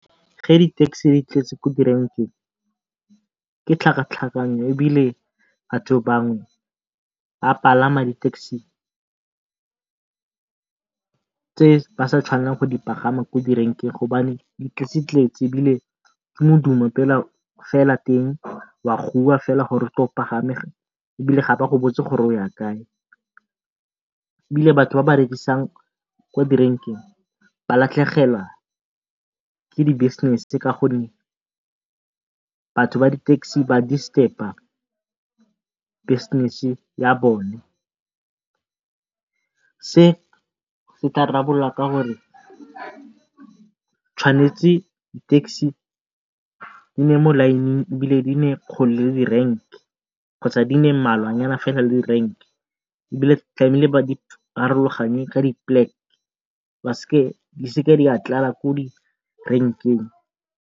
Ge di-taxi di tletse ko direnkeng ke tlhakatlhakano ebile batho bangwe ba palama di-taxi tse ba sa tshwanelang go di pagama ko direnkeng di tletsetletse ebile ke modumo fela teng wa goiwa gore o tle o pagame ebile ga ba go botse gore o ya kae. Ebile batho ba ba rekisang ko direnkeng ba latlhegelwa ke di-business batho ba di-taxi ba disturb-pa business ya bone, se se tla ka gore tshwanetse di-taxi di nne mo line-ng ebile di nne kgole le di renke kgotsa di nne mmalwanyana le di renke ebile ba di ka di seke di a tlala ko direnkeng.